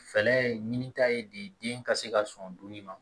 Fɛɛrɛ ye ɲinita ye diden ka se ka sɔn dumuni ma